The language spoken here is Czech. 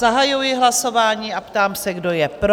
Zahajuji hlasování a ptám se, kdo je pro?